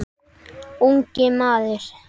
Ungi maður